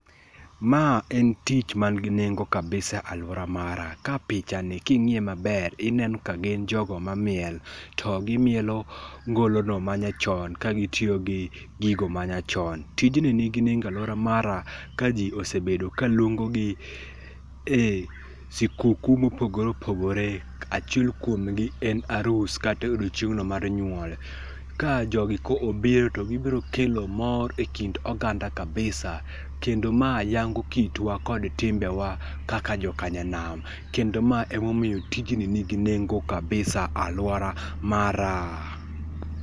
Ma en tich man gi nengo kabisa e aluora mara ka pichani king'iye maber ineno ka gin jogo mamiel, to gimielo ngolono manyachon ka gitiyo gi gigo ma nyachon. Tijni nigi nengo e aluora mara ka ji osebedo kaluongogi e sikuku mopogore opogore achiel kuom gi en arus kata odiechieng' no mar nyuol. Ka jogi ka obiro to gibiro kelo mor ekind oganda kabisa kendo ma yango kitwa kod timbewa kaka joka nyanam. Kendo ma emomiyo tijni nigi nengo kabisa aluora mara.